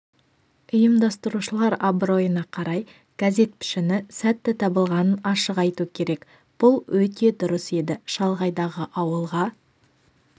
ұйымдастырушылар абыройына қарай газет пішіні сәтті табылғанын ашық айту керек бұл өте дұрыс еді шалғайдағы ауылға